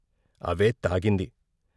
అవే తాగింది.